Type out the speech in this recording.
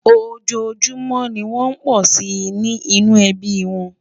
ọjọ júmò ní wón pò sí ní inú ẹbí wón